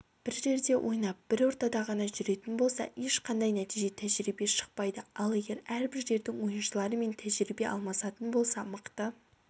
бір жерде ойнап бір ортада ғана жүретін болса ешқандай нәтиже тәжірибе шықпайды ал егер әрбір жердің ойыншыларымен тәжірибе алмасатын болса мықты